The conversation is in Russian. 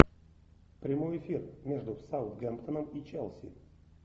прямой эфир между саутгемптоном и челси